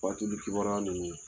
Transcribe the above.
Fatuli kibaruya ninnu